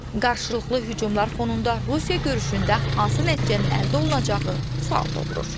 Qarşılıqlı hücumlar fonunda Rusiya görüşündə hansı nəticənin əldə olunacağı sual doğurur.